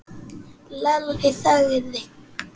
Lalli þagði.